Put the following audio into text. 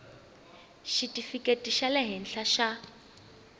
xitifikheti xa le henhla xa